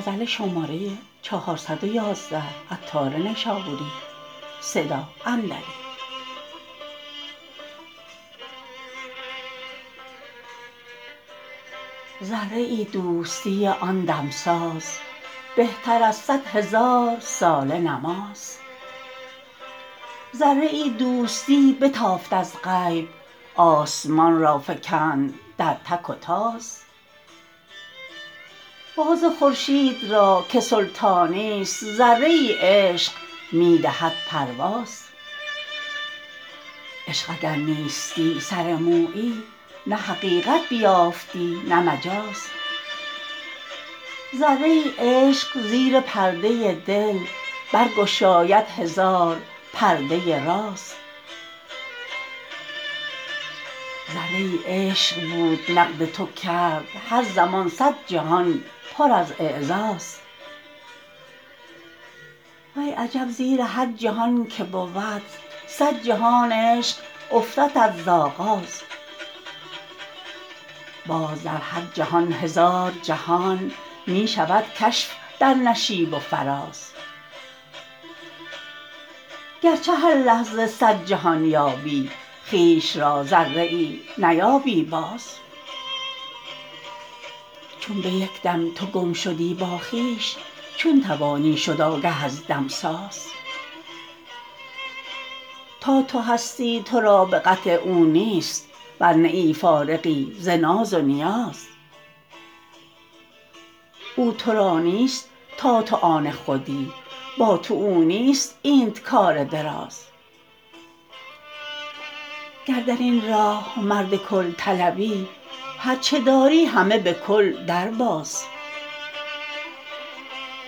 ذره ای دوستی آن دمساز بهتر از صد هزار ساله نماز ذره ای دوستی بتافت از غیب آسمان را فکند در تک و تاز باز خورشید را که سلطانی است ذره ای عشق می دهد پرواز عشق اگر نیستی سر مویی نه حقیقت بیافتی نه مجاز ذره ای عشق زیر پرده دل برگشاید هزار پرده راز زیر هر پرده نقد تو گردد هر زمان صد جهان پر از اعزاز وی عجب زیر هر جهان که بود صد جهان عشق افتدت ز آغاز باز در هر جهان هزار جهان می شود کشف در نشیب و فراز گرچه هر لحظه صد جهان یابی خویش را ذره ای نیابی باز چون به یکدم تو گم شدی با خویش چون توانی شد آگه از دمساز تا تو هستی تو را به قطع او نیست ور نه ای فارغی ز ناز و نیاز او تو را نیست تا تو آن خودی با تو او نیست اینت کار دراز گر درین راه مرد کل طلبی هرچه داری همه بکل درباز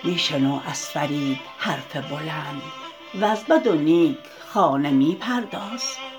می شنو از فرید حرف بلند وز بد و نیک خانه می پرداز